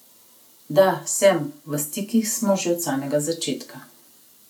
Da, sem, v stikih smo že od samega začetka.